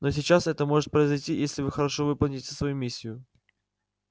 но сейчас это может произойти если вы хорошо выполните свою миссию